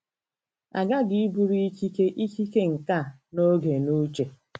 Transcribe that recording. A ghaghị iburu ikike, ikike, nkà na oge n'uche.